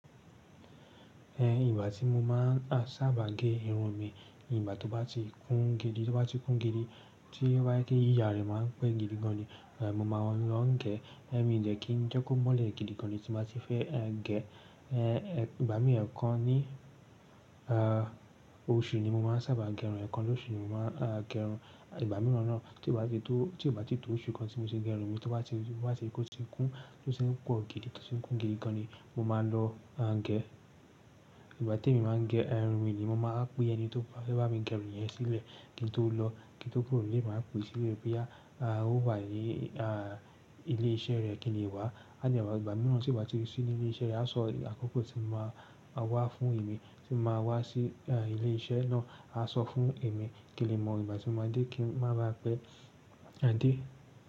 Ẹ, ìgbà tí mo máa ń sábà gé irun mi, ìgbà tó bá ti kún gidi, tó bá ti kún gidi tí wáyé yíyà rẹ máa ń pẹ́ gidi gan ni, eh, mo máa ń lọ gẹ́. Eh, è mi dẹ́ kí n jẹ́ kó mọ́lẹ̀ gidi gan ni tí mo ti fẹ́, ẹ, gẹ. Ìgbà mi ẹ̀kan ni oṣù ni mo máa ń sábà gé irun, ìgbà mìíràn tí ó bá ti tó oṣù kan tí mo ti gé irun mi, tí ó bá ti kún, tó ti ń pọ̀ gidi, tó ti ń kún gidi gan ni mo máa lọ, a, gẹ. Ìgbà tí èmi máa ń gẹ irun mi ni mo máa ń pe ẹni tó bá fẹ́ bá mi gẹ irun yẹn sílẹ̀ kí n tó lọ, kí n tó kúrò nílé, màá pè sílẹ̀ pé ó wá ní ilé iṣẹ́ rẹ kí n lè wá. Aní ìgbà mìíràn tí ì bá ti sí ní ilé iṣẹ́ rẹ, a sọ àkókò tí mo máa wá fún èmi tí mo máa wá sí, ẹ, ilé iṣẹ́ náà, a sọ fún èmi kí n lè mọ ìgbà tí mo dé kí n máa ba pẹ́, a dé.